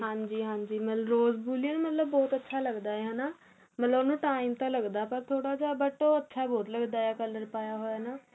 ਹਾਂਜੀ ਹਾਂਜੀ rose Valium ਬਹੁਤ ਅੱਛਾ ਲੱਗਦਾ ਹੈਨਾ ਮਤਲਬ ਉਹਨੂੰ time ਤਾ ਲੱਗਦਾ ਪਰ ਥੋੜਾ ਜਾਂ but ਉਹ ਅੱਛਾ ਬਹੁਤ ਲੱਗਦਾ color ਪਾਇਆ ਨਾ